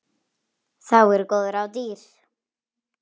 Þá eru góð ráð dýr.